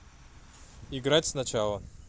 играть сначала